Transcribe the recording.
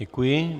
Děkuji.